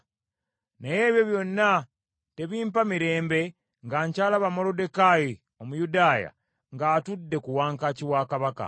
Naye ebyo byonna tebimpa mirembe nga nkyalaba Moluddekaayi Omuyudaaya ng’atudde ku wankaaki wa Kabaka.”